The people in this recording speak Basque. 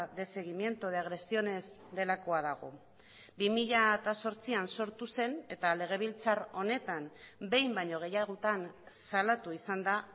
de seguimiento de agresiones delakoa dago bi mila zortzian sortu zen eta legebiltzar honetan behin baino gehiagotan salatu izan da